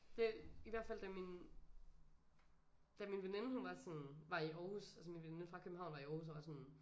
Det i hvert fald da min da min veninde hun var sådan var i Aarhus altså min veninde fra København var i Aarhus og var sådan